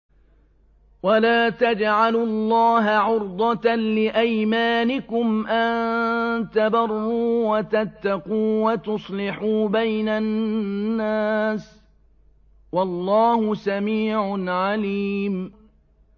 وَلَا تَجْعَلُوا اللَّهَ عُرْضَةً لِّأَيْمَانِكُمْ أَن تَبَرُّوا وَتَتَّقُوا وَتُصْلِحُوا بَيْنَ النَّاسِ ۗ وَاللَّهُ سَمِيعٌ عَلِيمٌ